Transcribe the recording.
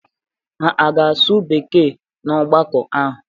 Ha ga-asụ Bekee n'ọgbakọ ahụ?